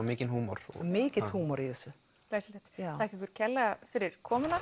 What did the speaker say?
mikill húmor mikill húmor í þessu glæsilegt þakka ykkur kærlega fyrir komuna